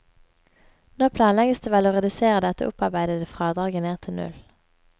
Nå planlegges det vel å redusere dette opparbeidede fradraget ned til null.